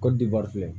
Kɔdiwari filɛ